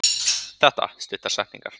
Þetta: Stuttar setningar.